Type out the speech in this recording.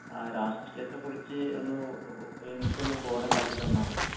ങാ..രാഷ്ട്രീയത്തെ കുറിച്ച്, ഒന്ന് എനിക്കൊന്ന് ബോധമുണ്ടാക്കി തന്നാൽ മതി.